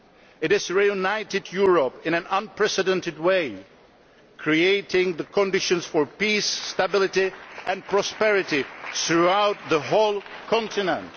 It has reunited Europe in an unprecedented way, creating the conditions for peace, stability and prosperity throughout the whole continent.